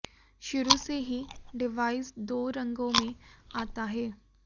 शुरू से ही डिवाइस दो रंगों में आता है